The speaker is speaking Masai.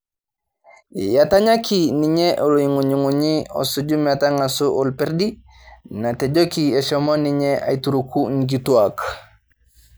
Etanyaki ninye olong'ung'unyi osuju matangaso orpedi natejoki eshomo ninye aitukuru nkituak